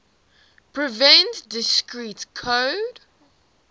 prevent discrete code